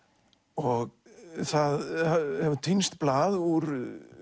og það hefur týnst blað úr